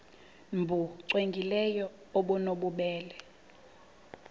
nbu cwengileyo obunobubele